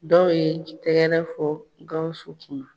Dɔw ye tɛgɛrɛ fɔ Gawusu kun.